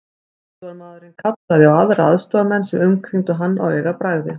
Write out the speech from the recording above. Aðstoðarmaðurinn kallaði á aðra aðstoðarmenn sem umkringdu hann á augabragði.